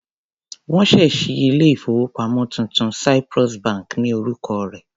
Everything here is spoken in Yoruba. Wọ́n ṣẹ̀ ṣí ilé-ìfowópamọ́ tuntun, Cyprus bank ni orúkọ rẹ̀.